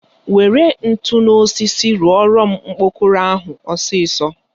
Were ntu na osisi rụọrọ m okpokoro ahụ ọsịsọ!